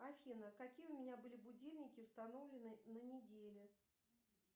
афина какие у меня были будильники установлены на неделе